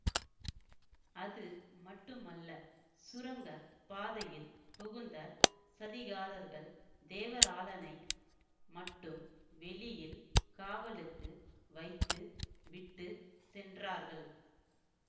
அது மட்டுமல்ல சுரங்க பாதையில் புகுந்த சதிகாரர்கள் தேவராளனை மட்டும் வெளியில் காவலுக்கு வைத்து விட்டு சென்றார்கள்